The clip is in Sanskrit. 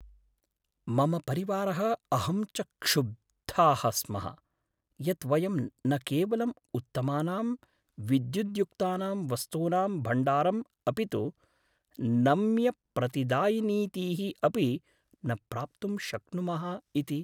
मम परिवारः अहं च क्षुब्धाः स्मः यत् वयं न केवलं उत्तमानां विद्युद्युक्तानां वस्तूनां भण्डारम् अपि तु नम्यप्रतिदायनीतीः अपि न प्राप्तुं शक्नुमः इति।